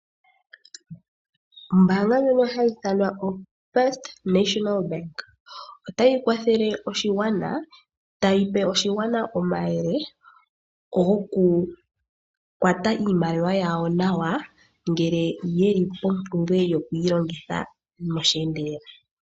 Ombaanga ndjono hayi ithanwa ombaanga yotango yopashigwana, otayi kwathele oshigwana, tayi pe oshigwana omayele, gokukwata iimaliwa yawo nawa, ngele yeli mompumbwe yokuyilongitha meendelelo.